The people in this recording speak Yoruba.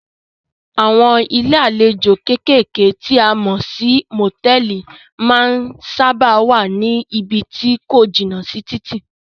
Àwọn ilé àlejò kékèké tí a mọ̀ sí motẹ̀ẹ̀li máa ń sábáà wá ní ibí tí ko jìnà sí títì.